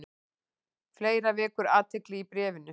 Fleira vekur athygli í bréfinu.